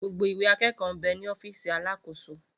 Gbogbo Ìwé àkẹkọ bẹ ní ọfísì àlàsókọ̀